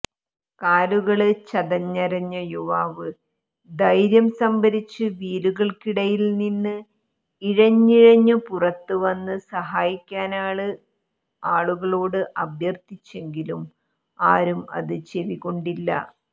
കാലുകള് ചതഞ്ഞരഞ്ഞ യുവാവ് ധൈര്യം സംഭരിച്ചു വീലുകള്ക്കടിയില്നിന്ന് ഇഴഞ്ഞിഴഞ്ഞു പുറത്തുവന്ന് സഹായിക്കാന് ആളുകളോട് അഭ്യര്ത്ഥിച്ചെങ്കിലും ആരും അത് ചെവിക്കൊണ്ടില്ല